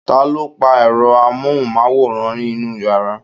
taló pa èro amóhùnmáwòrán inú yàrá?